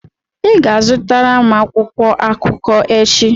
ị ga-azụtara m akwụkwọ akụkọ echi!